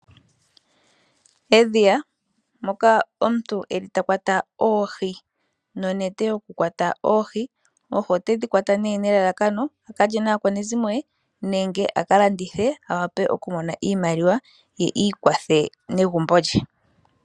Edhiya moka omuntu eli ta kwata oohi nonete yokukwata oohi, oohi otedhi kwata nee nelalakano akalye naakwanezimo ye nenge akalandithe awape oku mona iimaliwa ye iikwathe negumbo lye